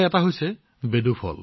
তাৰে এটা হৈছে ফল বেডু